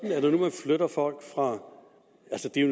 om